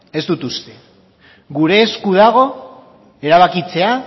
ez dut uste gure esku dago erabakitzea